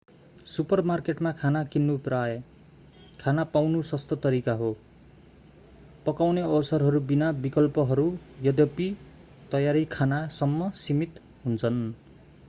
सुपरमार्केटमा खाना किन्नु प्राय खाना पाउनु सस्तो तरिका हो पकाउने अवसरहरू बिना विकल्पहरू यद्यपि तयारी खानासम्म सीमित हुन्छन्